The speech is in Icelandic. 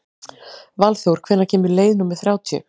Valþór, hvenær kemur leið númer þrjátíu?